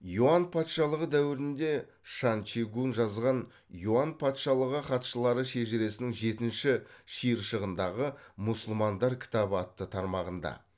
юань патшалығы дәуірінде шань чи гунь жазған юань патшалығы хатшылары шежіресінің жетінші шиыршығындағы мұсылмандар кітабы атты тармағында